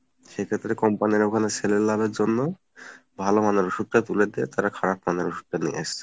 সেক্ষেত্রে company র ওখানে sell এ লাভের জন্য ভালোমানের ওষুধ টা তুলে দিয়ে তারা খারাপমানের ওষুধটা নিয়ে আসছে